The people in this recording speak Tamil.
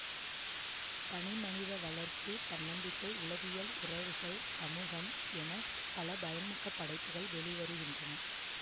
தனிமனித வளர்ச்சி தன்னப்பிக்கை உளவியல் உறவுகள் சமூகம் என பல பயன்மிக்க படைப்புகள் வெளி வருகின்றன